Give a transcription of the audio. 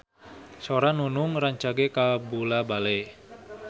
Sora Nunung rancage kabula-bale